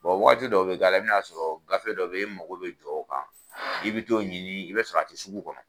waati dɔ be k'a la, i be n'a sɔrɔ gafe dɔw be yen mako be jɔ o kan, i bi t'o ɲini i be sɔrɔ a te sugu kɔnɔ.